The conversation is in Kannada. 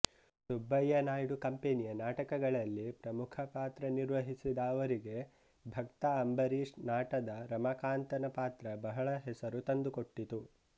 ಸುಬ್ಬಯ್ಯ ನಾಯ್ಡು ಕಂಪೆನಿಯ ನಾಟಕಗಳಲ್ಲಿ ಪ್ರಮುಖ ಪಾತ್ರನಿರ್ವಹಿಸಿದ ಅವರಿಗೆ ಭಕ್ತ ಅಂಬರೀಷ್ ನಾಟದ ರಮಾಕಾಂತನ ಪಾತ್ರ ಬಹಳ ಹೆಸರು ತಂದುಕೊಟ್ಟಿತು